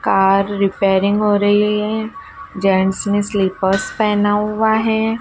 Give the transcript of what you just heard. Car repairing हो रही हैं। जेंट्स ने स्लीपर्स पहना हुआ हैं।